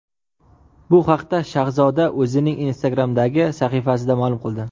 Bu haqda Shahzoda o‘zining Instagram’dagi sahifasida ma’lum qildi .